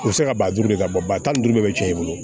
U bɛ se ka ba duuru de ka bɔ ba tan ni duuru de bɛ cɛn i bolo